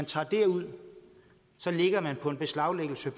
tager det ud så ligger beslaglæggelsen